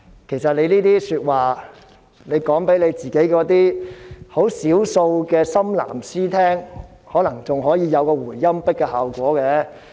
其實，他們把這些話說給少數的"深藍絲"聽，可能還會有一個回音壁的效果。